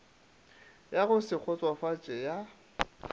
ya go se kgotsofatše ya